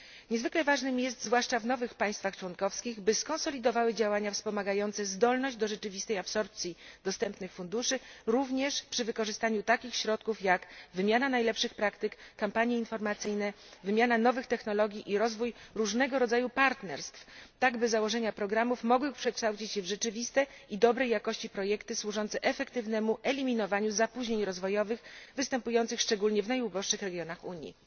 Niezwykle ważne jest, zwłaszcza w nowych państwach członkowskich, by skonsolidowały one działania wspomagające zdolność do rzeczywistej absorpcji dostępnych funduszy, również przy wykorzystaniu takich środków, jak wymiana najlepszych praktyk, kampanie informacyjne, wymiana nowych technologii i rozwój różnego rodzaju partnerstw, tak by założenia programów mogły przekształcić się w rzeczywiste i dobrej jakości projekty służące efektywnemu eliminowaniu zapóźnień rozwojowych występujących szczególnie w najuboższych regionach Unii.